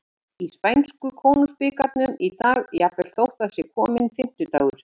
Það er leikið í spænsku Konungsbikarnum í dag, jafnvel þótt það sé kominn fimmtudagur.